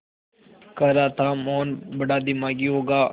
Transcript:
कह रहा था मोहन बड़ा दिमागी होगा